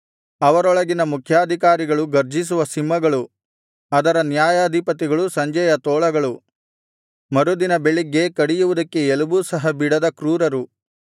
ಅವರೊಳಗಿನ ಮುಖ್ಯಾಧಿಕಾರಿಗಳು ಗರ್ಜಿಸುವ ಸಿಂಹಗಳು ಅದರ ನ್ಯಾಯಾಧಿಪತಿಗಳು ಸಂಜೆಯ ತೋಳಗಳು ಮರುದಿನ ಬೆಳಗ್ಗೆ ಕಡಿಯುವುದಕ್ಕೆ ಎಲುಬು ಸಹಾ ಬಿಡದ ಕ್ರೂರರು